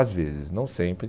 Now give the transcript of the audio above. Às vezes, não sempre.